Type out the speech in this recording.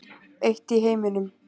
Eitt í heiminum.